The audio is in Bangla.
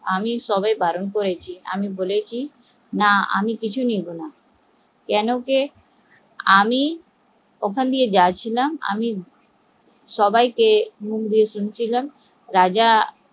আমি সব বারণ করেছি, আমি বলেছি আমি কিছু নেবো না কেন কে আমি ওখান থেকে যাচ্ছিলাম সবাইকে মুখ দিয়ে শুনছিলাম রাজা